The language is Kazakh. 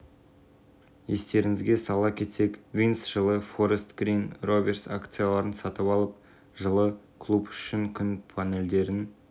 стадион орталығында орналастырылады сонымен қатар ішінде спорт залдарыболуы мүмкін бұл жоба әзірге млн еуроға бағаланып отыр стадион дизайны конкурс негізінде анықталған